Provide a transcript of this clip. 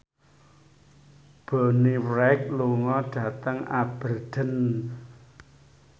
Bonnie Wright lunga dhateng Aberdeen